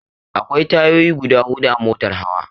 Akwai tayoyi guda hudu a motar hawa.